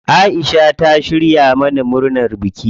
Aisha ta shirya mana dinar biki.